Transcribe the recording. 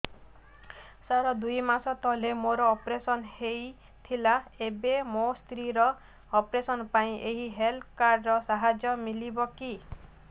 ସାର ଦୁଇ ମାସ ତଳରେ ମୋର ଅପେରସନ ହୈ ଥିଲା ଏବେ ମୋ ସ୍ତ୍ରୀ ର ଅପେରସନ ପାଇଁ ଏହି ହେଲ୍ଥ କାର୍ଡ ର ସାହାଯ୍ୟ ମିଳିବ କି